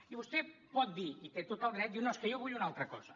i vostè pot dir hi té tot el dret no és que jo vull una altra cosa